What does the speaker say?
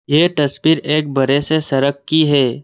ये तस्वीर एक बरे से सड़क की है।